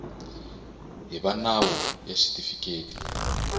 hi va nawu ya xitifiketi